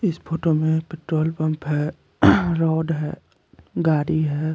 इस फोटो में petrol pump है रोड है गाड़ी है।